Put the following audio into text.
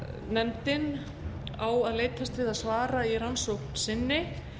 nefndin á að leitast við að svara í rannsókn sinni